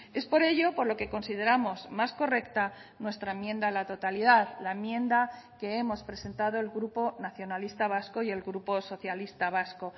es por ello por lo que consideramos más correcta nuestra enmienda a la totalidad la enmienda que hemos presentado el grupo nacionalista vasco y el grupo socialista vasco